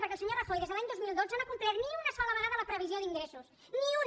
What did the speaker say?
perquè el senyor rajoy des de l’any dos mil dotze no ha complert ni una sola vegada la previsió d’ingressos ni una